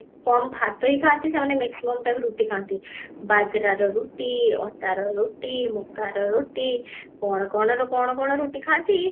କମ ଭାତ ହିଁ ଖାଆନ୍ତି ସେମାନେ maximum ତାଙ୍କର ରୁଟି ଖାନ୍ତି ବାଜରାର ରୁଟି, ଅଟାର ରୁଟି, ମକାର ରୁଟି କଣ କଣ ର କଣ କଣ ରୁଟିଖାନ୍ତି